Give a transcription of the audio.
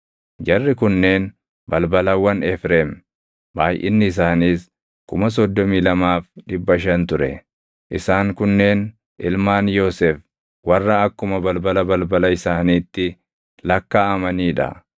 Jarri kunneen balbalawwan Efreem; baayʼinni isaaniis 32,500 ture. Isaan kunneen ilmaan Yoosef warra akkuma balbala balbala isaaniitti lakkaaʼamanii dha.